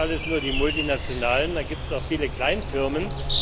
Das sind nicht alles nur die Multinationalen, da gibt es auch viele Kleinfirmen.